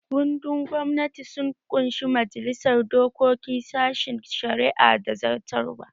Kundin gwamnati sun ƙunshi majalisar dokoki, sashen shari'a da zartarwa